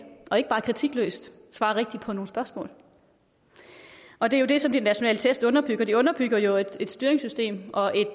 og ikke bare kritikløst svare rigtigt på nogle spørgsmål og det er jo det som de nationale test underbygger de underbygger jo et styringssystem og et